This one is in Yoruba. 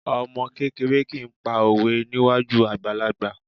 Ọmọ kékeré kì í pa òwe níwájú àgbàlagbà